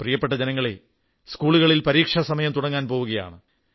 പ്രിയപ്പെട്ട ജനങ്ങളേ സ്കൂളുകളിൽ പരീക്ഷാ സമയം തുടങ്ങാൻ പോവുകയാണ്